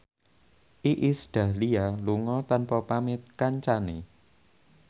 Iis Dahlia lunga tanpa pamit kancane